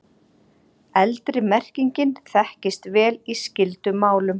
Eldri merkingin þekkist vel í skyldum málum.